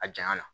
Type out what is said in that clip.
A janya na